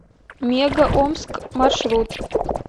мега омск маршрут